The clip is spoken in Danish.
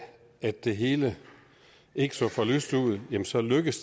at det hele ikke så for lyst ud så lykkedes